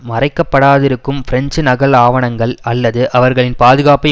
மறைக்கப்படாதிருக்கும் French நகல் ஆவணங்கள் அல்லது அவர்களின் பாதுகாப்பை